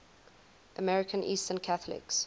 american eastern catholics